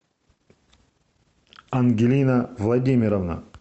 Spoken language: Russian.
ангелина владимировна